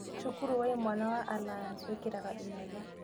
Cukuru wa imwana wa Alliance wĩkĩraga inyatha